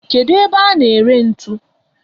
Kedu ebe a na ere ntu?